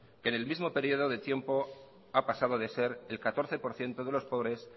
en el mismo periodo de tiempo ha pasado de ser el catorce por ciento de los pobres